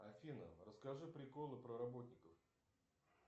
афина расскажи приколы про работников